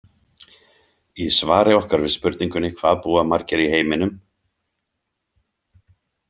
Í svari okkar við spurningunni Hvað búa margir í heiminum?